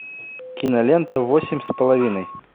кинолента восемь с половиной